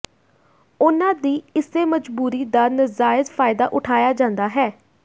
ਉਨ੍ਹਾਂ ਦੀ ਇਸੇ ਮਜਬੂਰੀ ਦਾ ਨਜਾਇਜ ਫਾਇਦਾ ਉਠਾਇਆ ਜਾਂਦਾ ਹੈ